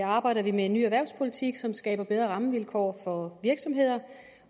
arbejder vi med en ny erhvervspolitik som skaber bedre rammevilkår for virksomheder